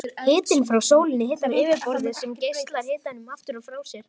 Hitinn frá sólinni hitar yfirborðið sem geislar hitanum aftur frá sér.